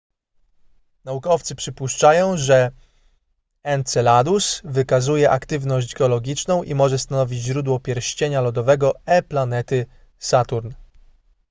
naukowcy przypuszczają że enceladus wykazuje aktywność geologiczną i może stanowić źródło pierścienia lodowego e planety saturn